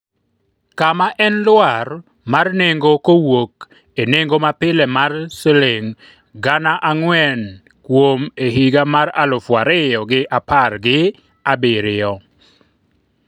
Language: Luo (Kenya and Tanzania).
kama en lwar mar nengo kowuok e nengo mapile mar shiling gana ang'wen kuom e higa mar alufu ariyo gi apar gi abiriyo